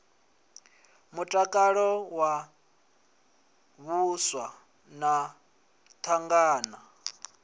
mutakalo wa vhaswa na thangana